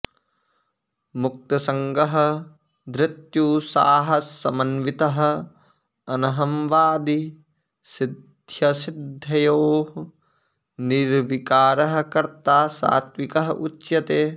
मुक्तसङ्गः धृत्युत्साहसमन्वितः अनहंवादी सिद्ध्यसिद्ध्योः निर्विकारः कर्ता सात्त्विकः उच्यते